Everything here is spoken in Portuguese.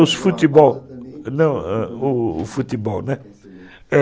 Os futebol, não, o futebol, né?